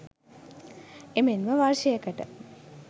එමෙන්ම වර්ෂයකට